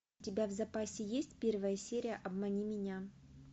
у тебя в запасе есть первая серия обмани меня